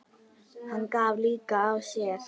Hann gaf líka af sér.